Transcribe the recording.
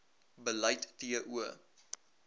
beleid t o